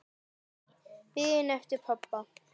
Biðin eftir pabba.